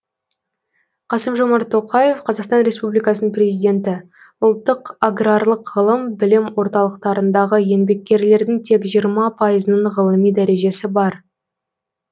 қасым жомарт тоқаев қазақстан республикасының президенті ұлттық аграрлық ғылым білім орталықтарындағы еңбеккерлердің тек жиырма пайызының ғылыми дәрежесі бар